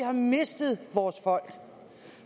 har mistet vores folk